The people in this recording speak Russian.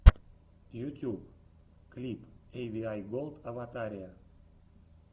ютьюб клип эйвиай голд аватария